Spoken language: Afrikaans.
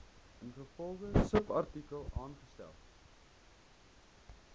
ingevolge subartikel aangestel